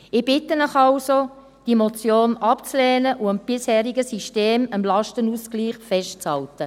Ich bitte Sie also, diese Motion abzulehnen und am bisherigen System, dem Lastenausgleich, festzuhalten.